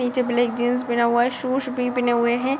निचे black jeans पीना हुआ है शूज भी पीना हुआ है ।